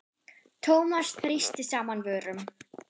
Thomas þrýsti saman vörum.